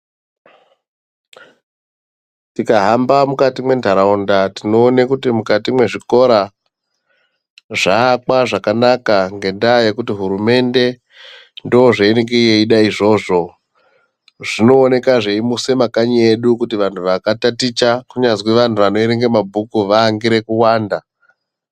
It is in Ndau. Tikahamba mukati mwentaraunda, tinoone kuti mukati mwezvikora zvaakwa zvakanaka ngendaa yekuti hurumende ndozveinenge yeida izvozvo. Zvinooneka zveimuse makanyi edu kuti vantu vakataticha, kunyazwi vantu vanoerenge mabhuku vaangire kuwanda.